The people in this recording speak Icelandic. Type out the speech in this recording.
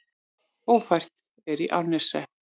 Ófært er í Árneshreppi